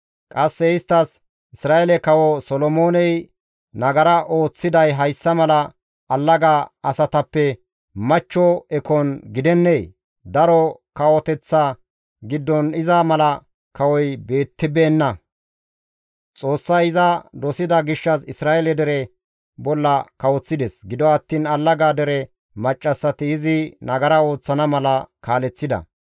Qasse isttas, «Isra7eele kawo Solomooney nagara ooththiday hayssa mala allaga asatappe machcho ekon gidennee? Daro kawoteththa giddon iza mala kawoy beettibeenna; Xoossay iza dosida gishshas Isra7eele dere bolla kawoththides; gido attiin allaga dere maccassati izi nagara ooththana mala kaaleththida.